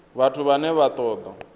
vhathu vhane vha ṱo ḓa